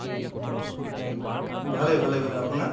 ভালে ভালে ভালে , আপোনাৰ?